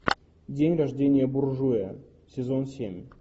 день рождения буржуя сезон семь